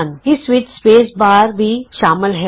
ਇਸ ਵਿਚ space bar ਵੀ ਸ਼ਾਮਲ ਹੈ